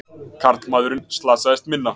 Karlmaðurinn slasaðist minna